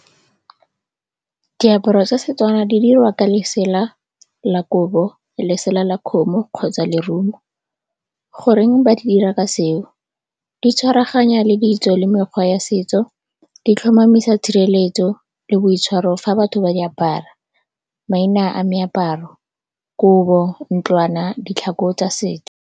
Diaparo tsa Setswana di dirwa ka lesela la kobo, lesela la kgomo kgotsa lerumo. Goreng ba dira ka seo? Di tshwaraganya le ditso le mekgwa ya setso, di tlhomamisa tshireletso le boitshwaro fa batho ba di apara. Maina a meaparo, kobo ntlwana, ditlhako tsa setso.